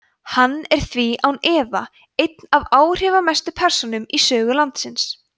hann er því án efa ein af áhrifamestu persónum í sögu landsins